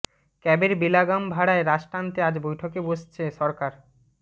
ক্যাবের বেলাগাম ভাড়ায় রাশ টানতে আজ বৈঠকে বসছে সরকার